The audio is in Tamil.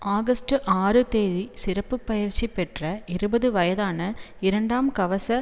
ஆகஸ்டு ஆறு தேதி சிறப்பு பயிற்சி பெற்ற இருபது வயதான இரண்டாம் கவச